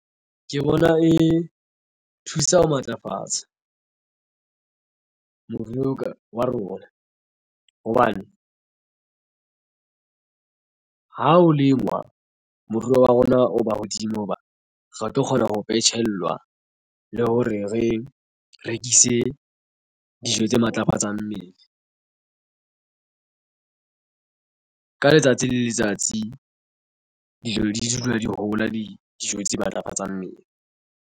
Ke bona e thusa ho matlafatsa moruo ka wa rona hobane ha o lengwa moruo wa rona o ba hodimo hoba re tlo kgona ho phetshelwa le hore re rekise dijo tse matlafatsang mmele ka letsatsi le letsatsi dijo di dula di hola. Dijo tse matlafatsang mmele.